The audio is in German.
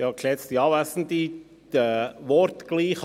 Kommissionspräsident der FiKo.